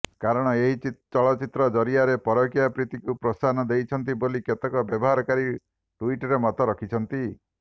କରଣ ଏହି ଚଳଚ୍ଚିତ୍ର ଜରିଆରେ ପରକୀୟା ପ୍ରୀତିକୁ ପ୍ରୋତ୍ସାହନା ଦେଇଛନ୍ତି ବୋଲି କେତେକ ବ୍ୟବହାରକାରୀ ଟୁଇଟର୍ରେ ମତ ରଖିଛନ୍ତି